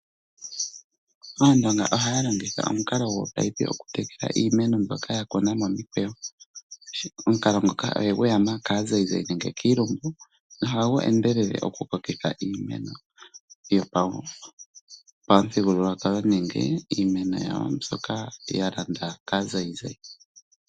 Aandonga ohaya longitha omukalo goopayipi/ ominino oku tekela iimeno mbyoka ya kuna momikweyo, omukalo nguka oye gu yama kaazayizayi nenge kiilumbu nohagu endelele oku kokeka iimeno yopamuthigululwakalo nenge iimeno yawo mbyoka ya landa kaazayizayi.